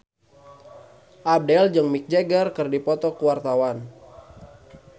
Abdel jeung Mick Jagger keur dipoto ku wartawan